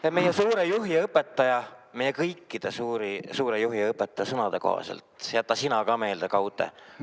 Ja meie suure juhi ja õpetaja, meie kõikide suure juhi ja õpetaja sõnade kohaselt – jäta sina ka meelde, Gaute!